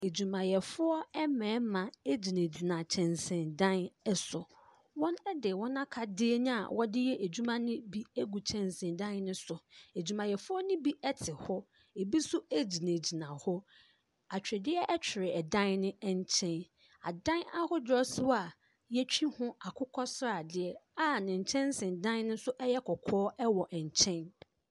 Adwumayɛfoɔ mmɛrima egyina gyina kyɛnsee dan ɛso. Wɔn de wɔn akadeɛ a wɔde yɛ adwuma no bi egu kyɛnsee dan no so. Adwumayɛfoɔ no bi ɛte hɔ. Ebi nso egyina gyina hɔ. Atwedeɛ ɛtwere ɛdan ne ɛnkyɛn. Adan ahodoɔ nsoa yetwi ho akokɔsradeɛ a ne nkyɛnsee dan no nso ɛyɛ kɔkɔɔ ɛwɔ nkyɛn.